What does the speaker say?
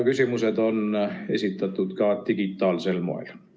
Küsimused on esitatud ka digitaalsel moel.